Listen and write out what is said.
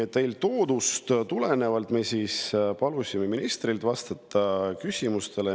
Eeltoodust tulenevalt palusime ministril vastata küsimustele.